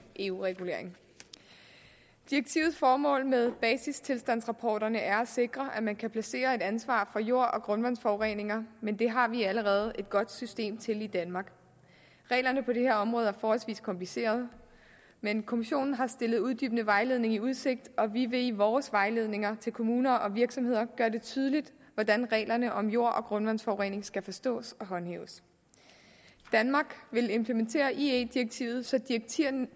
eu regulering direktivets formål med basistilstandsrapporterne er at sikre at man kan placere et ansvar for jord og grundvandsforureninger men det har vi allerede et godt system til i danmark reglerne på det her område er forholdsvis komplicerede men kommissionen har stillet uddybende vejledning i udsigt og vi vil i vores vejledninger til kommuner og virksomheder gøre det tydeligt hvordan reglerne om jord og grundvandsforurening skal forstås og håndhæves danmark vil implementere ie direktivet så direktivnært